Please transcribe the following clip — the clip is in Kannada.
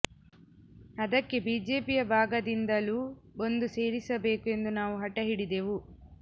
ಅದಕ್ಕೆ ಬಿಜೆಪಿಯ ಭಾಗದಿಂದಲೂ ಒಂದು ಸೇರಿಸಬೇಕು ಎಂದು ನಾವು ಹಟ ಹಿಡಿದೆವು